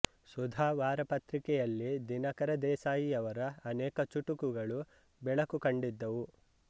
ಸುಧಾ ವಾರಪತ್ರಿಕೆಯಲ್ಲಿ ದಿನಕರ ದೇಸಾಯಿಯವರ ಅನೇಕ ಚುಟುಕುಗಳು ಬೆಳಕು ಕಂಡಿದ್ದವು